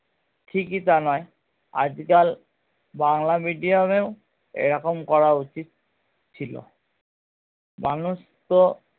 ঠিকই তা নয় আজকাল বাংলা medium এও এরকম করা উচিৎ ছিলো মানুষ তো